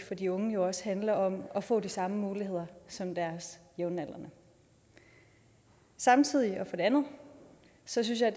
for de unge jo også handler om at få de samme muligheder som deres jævnaldrende samtidig og for det andet synes jeg